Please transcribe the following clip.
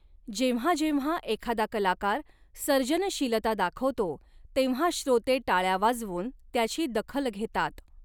जेव्हा जेव्हा एखादा कलाकार सर्जनशीलता दाखवतो, तेव्हा श्रोते टाळ्या वाजवून त्याची दखल घेतात.